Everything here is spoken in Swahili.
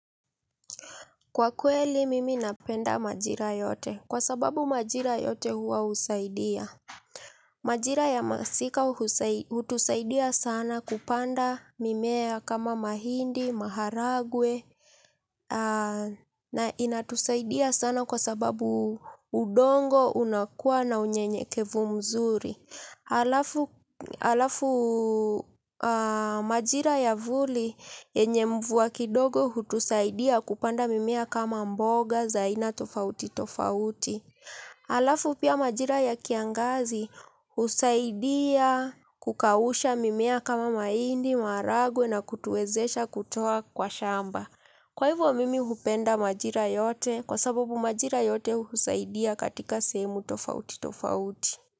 Kwa kweli mimi napenda majira yote, kwa sababu majira yote huwa husaidia majira ya masika hutusaidia sana kupanda mimea kama mahindi, maharagwe. Na inatusaidia sana kwa sababu udongo unakua na unyenyekevu mzuri. Alafu majira ya vuli yenye mvua kidogo hutusaidia kupanda mimea kama mboga, za aina tofauti tofauti. Alafu pia majira ya kiangazi husaidia kukausha mimea kama mahindi, maharagwe na kutuwezesha kutoa kwa shamba kwa hivyo mimi hupenda majira yote kwa sababu majira yote husaidia katika sehemu tofauti tofauti.